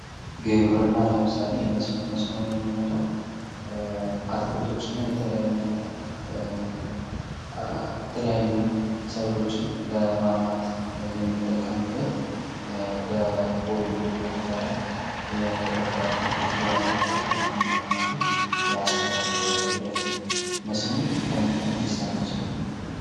ግብርና ለምሳሌ መስኖ፡-መስኖ የምንለው አትክልቶችና የተለያዩ ሰብሎችን ለማልማት የምንጠቀምበት በቦይ ወይም ደግሞ በረድፍ የተተከሉ አትክልቶችን ውሃ ለማጠጣት የምንጠቀምበት የአሰራር ሂደት ነው ።መስኖ ከምን ከምን ሊሰራ ይችላል?